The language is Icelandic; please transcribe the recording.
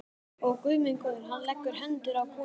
Ó, Guð minn góður, hann leggur hendur á konur.